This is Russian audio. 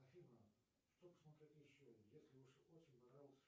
афина что посмотреть еще если уж очень понравился